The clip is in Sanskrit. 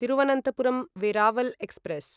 तिरुवनन्तपुरं वेरावल् एक्स्प्रेस्